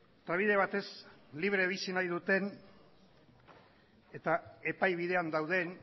eta bide batez libre bizi nahi duten eta epai bidean dauden